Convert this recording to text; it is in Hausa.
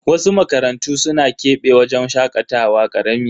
Wasu makarantu suna kebe wajen shakatawa karami.